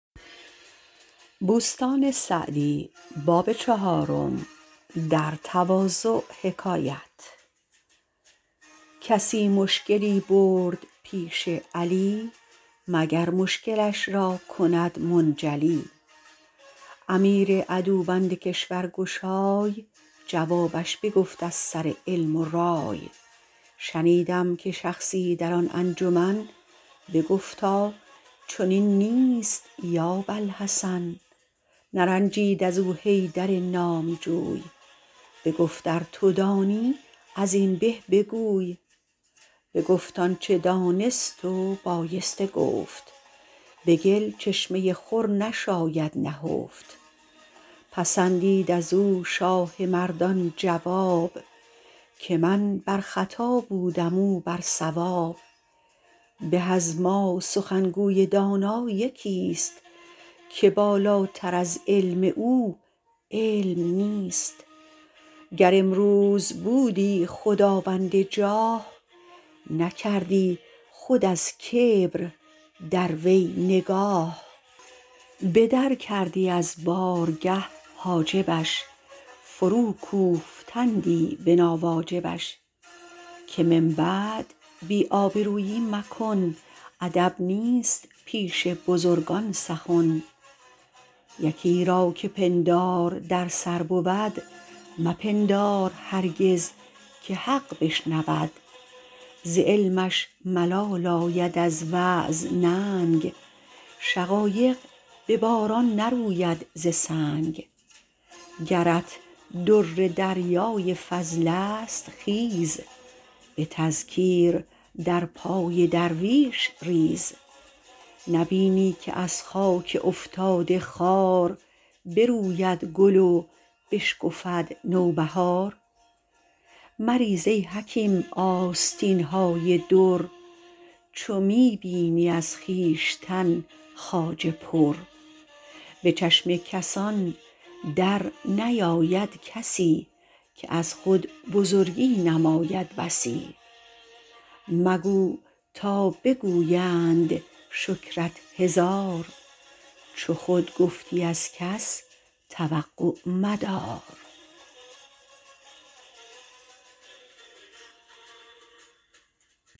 کسی مشکلی برد پیش علی مگر مشکلش را کند منجلی امیر عدوبند کشور گشای جوابش بگفت از سر علم و رای شنیدم که شخصی در آن انجمن بگفتا چنین نیست یا باالحسن نرنجید از او حیدر نامجوی بگفت ار تو دانی از این به بگوی بگفت آنچه دانست و بایسته گفت به گل چشمه خور نشاید نهفت پسندید از او شاه مردان جواب که من بر خطا بودم او بر صواب به از ما سخنگوی دانا یکی است که بالاتر از علم او علم نیست گر امروز بودی خداوند جاه نکردی خود از کبر در وی نگاه به در کردی از بارگه حاجبش فرو کوفتندی به ناواجبش که من بعد بی آبرویی مکن ادب نیست پیش بزرگان سخن یکی را که پندار در سر بود مپندار هرگز که حق بشنود ز علمش ملال آید از وعظ ننگ شقایق به باران نروید ز سنگ گرت در دریای فضل است خیز به تذکیر در پای درویش ریز نبینی که از خاک افتاده خوار بروید گل و بشکفد نوبهار مریز ای حکیم آستین های در چو می بینی از خویشتن خواجه پر به چشم کسان در نیاید کسی که از خود بزرگی نماید بسی مگو تا بگویند شکرت هزار چو خود گفتی از کس توقع مدار